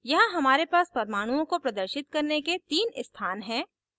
यहाँ हमारे पास परमाणुओं को प्रदर्शित करने के 3 स्थान हैं